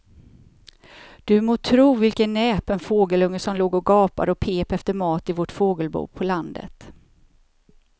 Du må tro vilken näpen fågelunge som låg och gapade och pep efter mat i vårt fågelbo på landet.